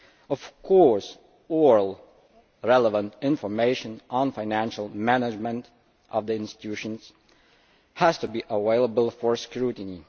Of course, all relevant information on the financial management of the institutions has to be available for scrutiny.